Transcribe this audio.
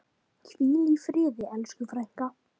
Hvíl í friði elsku frænka.